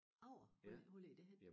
Agger hvor ligger det henne?